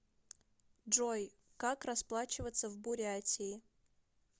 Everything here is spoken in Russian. джой как расплачиваться в бурятии